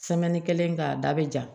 kelen k'a da bɛ ja